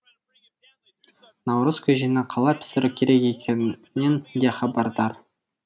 наурыз көжені қалай пісіру керек екенінен де хабардар